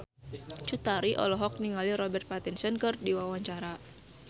Cut Tari olohok ningali Robert Pattinson keur diwawancara